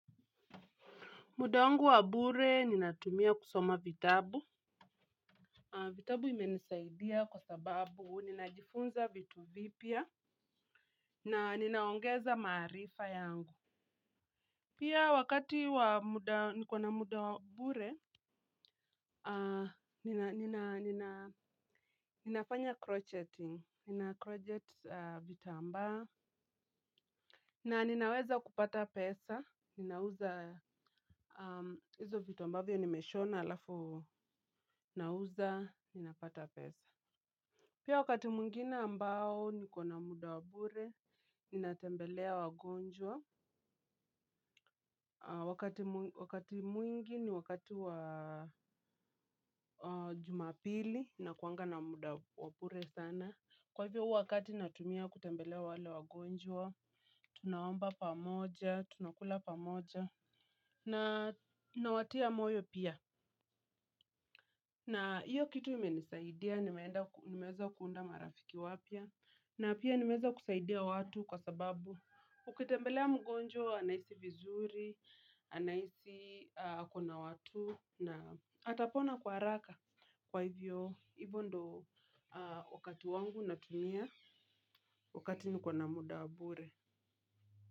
Muda wangu wa bure ninatumia kusoma vitabu. Vitabu imenisaidia kwa sababu ninajifunza vitu vipya na ninaongeza maarifa yangu. Pia wakati wa muda, nikona muda wa bure, ninafanya crocheting. Ninacrochet vitambaa. Na ninaweza kupata pesa, ninauza, hizo vitu ambavyo nimeshona alafu, nauza, ninapata pesa. Pia wakati mwingine ambao nikona muda wa bure, ninatembelea wagonjwa. Wakati mwingi ni wakati wa Jumapili, nakuwanga na muda wa bure sana. Kwa hivyo huo wakati natumia kutembelea wale wagonjwa, tunaomba pamoja, tunakula pamoja na nawatia moyo pia na hiyo kitu imenisaidia nimeweza kuunda marafiki wapya na pia nimeweza kusaidia watu kwa sababu ukitembelea mgonjwa anahisi vizuri, anahisi akona watu na atapona kwa haraka. Kwa hivyo, hivyo ndio wakati wangu natumia wakati nikona muda wa bure.